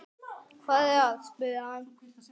Hvað er að? spurði hann.